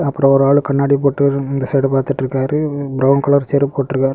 அப்ரம் ஒரு ஆள் கண்ணாடி போட்டு இந்த சைடு பாத்துட்டு இருக்காரு ப்ரவுன் கலர் செருப்பு போட்டு இருக்காரு.